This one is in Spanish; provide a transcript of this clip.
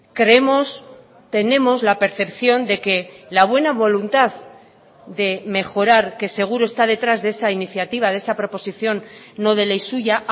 creemos tenemos la percepción de que la buena voluntad de mejorar que seguro está detrás de esa iniciativa de esa proposición no de ley suya